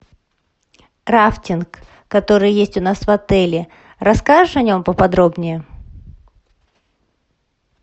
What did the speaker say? рафтинг который есть у нас в отеле расскажешь о нем поподробнее